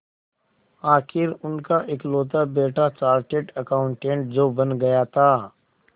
आखिर उनका इकलौता बेटा चार्टेड अकाउंटेंट जो बन गया था